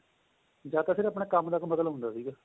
ਜਦ ਤੱਕ ਸਿਰਫ਼ ਆਪਣੇਂ ਕੰਮ ਤੱਕ ਮਤਲਬ ਹੁੰਦਾ ਸੀ